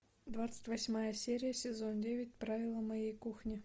двадцать восьмая серия сезон девять правила моей кухни